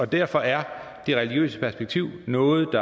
derfor er det religiøse perspektiv noget